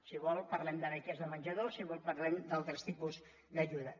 si vol parlem de beques de menjador si vol parlem d’altres tipus d’ajuda